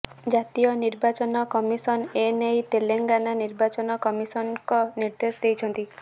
ଜାତୀୟ ନିର୍ବାଚନ କମିଶନ ଏ ନେଇ ତେଲେଙ୍ଗାନା ନିର୍ବାଚନ କମିଶନଙ୍କି ନିର୍ଦ୍ଦେଶ ଦେଇଛନ୍ତି